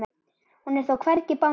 Hún er þó hvergi bangin.